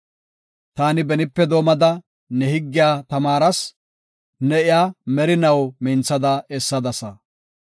Taani benipe doomada, ne higgiya tamaaras; ne iya merinaw minthada essadasa.